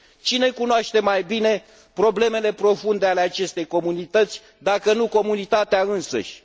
Cine cunoaște mai bine problemele profunde ale acestei comunități, dacă nu comunitatea însăși?